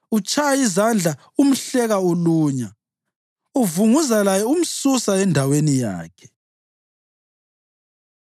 Utshaya izandla umhleka ulunya uvunguza laye umsusa endaweni yakhe.”